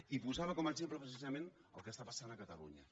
i posava com a exemple precisament el que passa a catalunya